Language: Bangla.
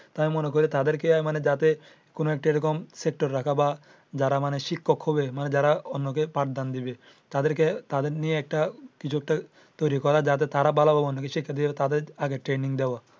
তারা মনে করে তাদেরকে যাতে কোনো একটা সেক্টর রাখা। মানে যারা শিক্ষক হবে মানে যারা অন্য কে পাঠ দেন দিবে তাদের নিয়ে একটা কিছু একটা তৈরী করা যাতে তারা যাতে তাদের আগে ভালো ভাবে training দেওয়া।